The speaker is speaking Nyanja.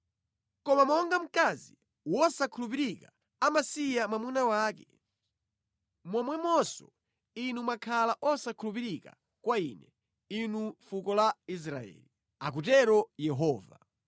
Koma monga mkazi wosakhulupirika amasiya mwamuna wake, momwemonso inu mwakhala osakhulupirika kwa Ine, inu fuko la Israeli,” akutero Yehova.